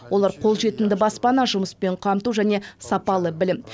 олар қолжетімді баспана жұмыспен қамту және сапалы білім